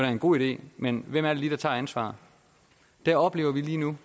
en god idé men hvem er det lige der tager ansvaret det oplever vi lige nu